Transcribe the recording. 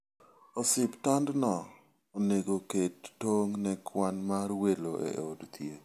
Osiptandno onego oket tong' ne kwan mar welo e od thieth.